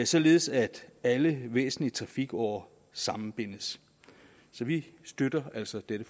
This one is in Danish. således at alle væsentlige trafikårer sammenbindes så vi støtter altså dette